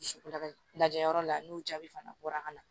Dusukolo la lajɛyɔrɔ la n'o jaabi fana bɔra ka na